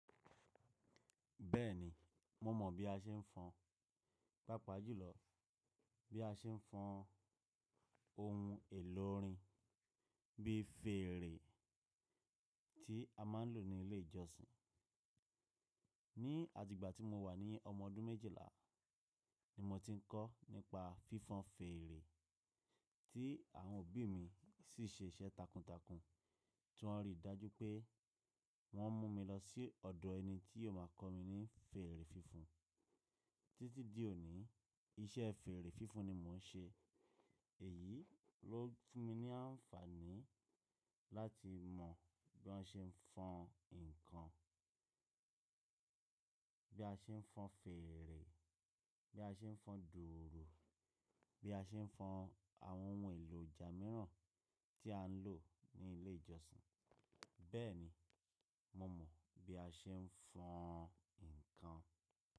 Bẹ́ẹ̀ni, mo mọ̀ bí a ṣe ń fọn, pàápàá jùlọ bí a ṣe ń fọn ohun èlò orin bí fèèrè tí a máa ń lò ní ilé ìjọsìn. Ni àtìgbà tí mo wà ní ọmọ ọdún méjìlá ni mo ti ń kọ́ nípa fífan fèèrè tí àwọn òbí mi sì ṣe iṣẹ́ takuntakun tí wọ́n rí i dájú pé wọ́n mú mi lọ sí ọ̀dọ̀ ẹni tí yóò máa kọ́ mi ní fèrè fífan. Títí di òní iṣẹ́ fèrè fífan ni mo ń ṣe. Èyí ló fún mi ní àǹfààní láti mọ̀ bí wọn ṣe ń fọn ǹkan, bí a ṣe ń fọn fèèrè, bí a ṣe ń fọn dùùrù, bí a ṣe ń fọn àwọn ohun èlò ọjà mìíràn tí à ń lò ní ilé ìjọsìn. Bẹ́ẹ̀ni, mo mọ̀ bí a ṣe ń fọn ǹkan.